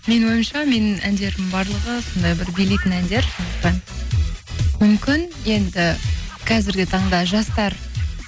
менің ойымша менің әндерім барлығы сондай бір билейтін әндер сондықтан мүмкін енді қазіргі таңда жастар